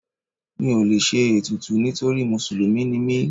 Mi ò lè ṣe ètùtù nítorí Mùsùlùmí ni mí.